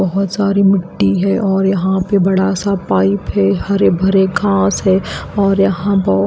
बहोत सारी मिट्टी है और यहाँ पे बड़ा सा पाइप है हरे भरे घास है और यहाँ पर--